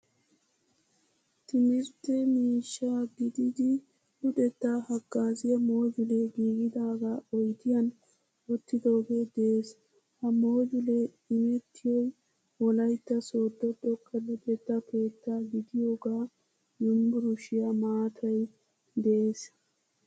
Timirtte miishsha gidid luxetta hagaaziyaa mojjule giigidaga oydiyan wottidooge de'ees. Ha mojjule immetitoy wolaytta sodo xoqqa luxetta keetta gidiyoga yunvurshiyaa maaatay de'ees.